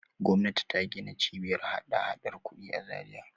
Gwamnati ta gina Cibiyar hadahadar kuɗi a Zariya.